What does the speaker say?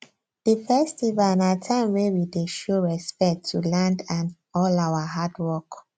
the festival na time wey we dey show respect to land and all our hard work